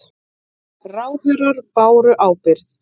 Ráðherrar báru ábyrgð